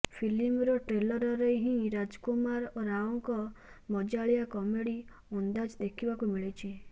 ଫିଲ୍ମର ଟ୍ରେଲରରେ ହିଁ ରାଜକୁମାର ରାଓଙ୍କ ମଜାଳିଆ କମେଡ଼ି ଅନ୍ଦାଜ ଦେଖିବାକୁ ମିଳିଛି